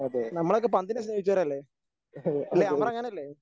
നമ്മളൊക്കെ പന്തിനെ സ്നേഹിച്ചവരല്ലേ? അല്ലേ അമറങ്ങനെയല്ലേ?